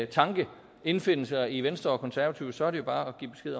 tanke indfinde sig i venstre og konservative så er det jo bare